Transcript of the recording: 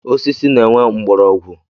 Osisi na-enwe mgbọrọgwụ